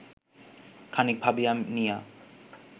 খানিক ভাবিয়া নিয়া